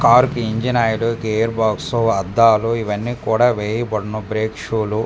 car కి engine oil gear box అద్దాలు ఇవన్ని కూడా వేయబడును బ్రేక్ షూ లు --